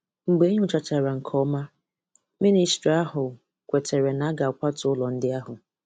Mgbe e nyochachara nke ọma, Mịnịstrị ahụ kwetere na-aga akwatu ụlọ ndị ahụ.